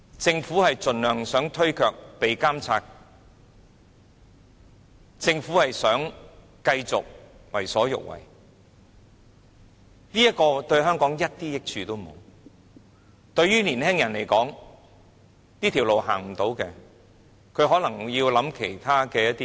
政府想盡量推卻監察，想繼續為所欲為，這對香港一點益處都沒有，對於年輕人來說，當這條路行不通，他們可能要想想其他的路。